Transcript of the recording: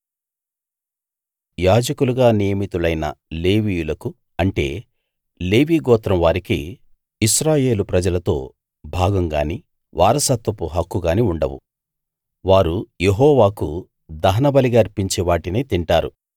యాజకులుగా నియమితులైన లేవీయులకు అంటే లేవీగోత్రం వారికి ఇశ్రాయేలు ప్రజలతో భాగం గానీ వారసత్వపు హక్కు గానీ ఉండవు వారు యెహోవాకు దహనబలిగా అర్పించే వాటినే తింటారు